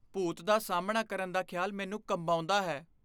ਭੂਤ ਦਾ ਸਾਹਮਣਾ ਕਰਨ ਦਾ ਖਿਆਲ ਮੈਨੂੰ ਕੰਬਾਉਂਦਾ ਹੈ।